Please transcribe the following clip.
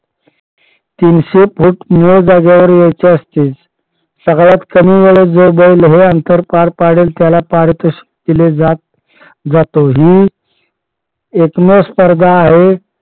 तीनशे फूट निव्वळ जागेवर यायचे असते. सगळ्यात कमी वेळेत जो बैल हे अंतर पार पाडेल त्याला त्याला पारितोषिक दिले जात जाते. ही एकमेव स्पर्धा आहे.